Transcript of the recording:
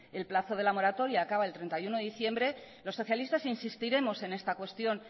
el plazo de la moratoria acaba el treinta y uno de diciembre los socialistas insistiremos en esta cuestión